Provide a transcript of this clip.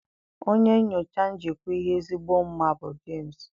Onye nyocha njikwa ihe ezigbo mma bụ James.